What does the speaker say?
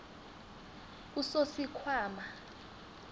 usosikhwama